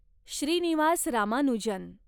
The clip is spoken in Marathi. श्रीनिवास रामानुजन